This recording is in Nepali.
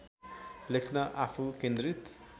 लेख्न आफू केन्द्रित